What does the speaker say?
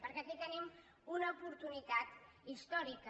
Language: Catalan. perquè aquí tenim una oportunitat històrica